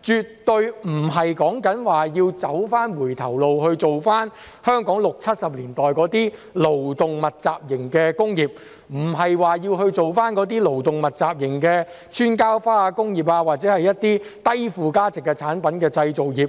絕對不是指要走回頭路，返回香港六七十年代勞動密集型的工業，並非指要做回那些勞動密集型的"穿膠花"工業或一些低附加值產品的製造業。